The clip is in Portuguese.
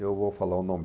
Eu vou falar o nome...